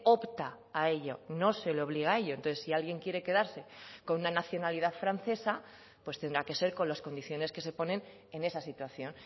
opta a ello no se le obliga a ello entonces si alguien quiere quedarse con una nacionalidad francesa pues tendrá que ser con las condiciones que se ponen en esa situación